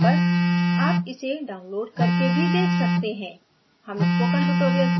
अच्छी bandwidth न मिलने पर भी आप इसे download करके देख सकते हैं